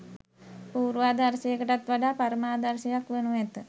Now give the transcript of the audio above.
පූර්වාදර්ශයකටත් වඩා පරමාදර්ශයක් වනු ඇත